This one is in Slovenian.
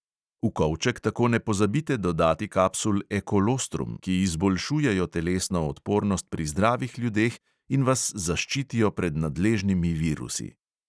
V kovček tako ne pozabite dodati kapsul ekolostrum, ki izboljšujejo telesno odpornost pri zdravih ljudeh in vas zaščitijo pred nadležnimi virusi.